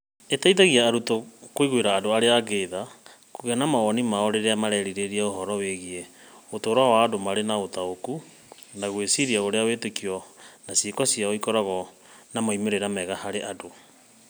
Ĩteithagia arutwo kũiguĩra andũ arĩa angĩ tha, kũgĩa na mawoni mao rĩrĩa marerirĩria ũhoro wĩgiĩ ũtũũro wa andũ marĩ na ũtaũku, na gwĩciria ũrĩa wĩtĩkio na ciĩko ciao ikoragwo na moimĩrĩro mega harĩ andũ.